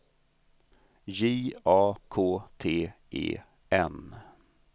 J A K T E N